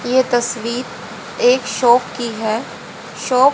ये तस्वीर एक शॉप की है शॉप --